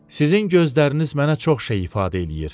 Sizin gözləriniz mənə çox şey ifadə eləyir.